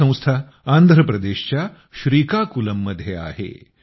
ही संस्था आंध्रप्रदेशच्या श्रीकाकुलममध्ये आहे